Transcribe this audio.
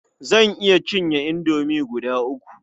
Zan iya cinye indomi guda uku.